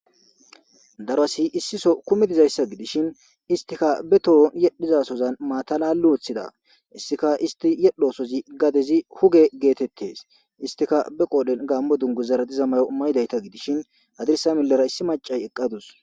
darasi issiso kumidizayssa gidishin istika be tohon yedhizasozan maatalali woththida issika isti yedhoosozi gadezi huge geetettes istika be qoodhen gaammo dungu zaradiza mayo mayidayta gidishin adirsa milera issi macay eqqadus